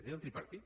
era el tripartit